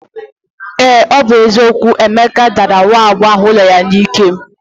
Ee ọ bụ eziokwu, Emeka dara nwa agbọghọ ụlọ ya n'ike